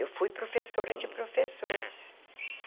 Eu fui professora de professores.